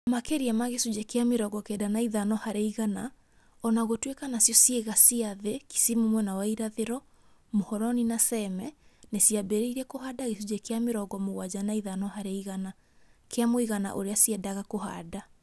Maki͂ria ma gi͂cunji͂ ki͂a mi͂rongo kenda na i͂tano hari͂ igana, o na gu͂tui͂ka nacio cii͂ga cia thi͂ ( Kisimu mwena wa irathi͂ro, Muhoroni na Seme) ni͂ ciambi͂ri͂irie ku͂handa gi͂cunji͂ ki͂a mi͂rongo mu͂gwanja na i͂tano hari͂ igana, ki͂a mu͂igana u͂ri͂a ciendaga ku͂handa.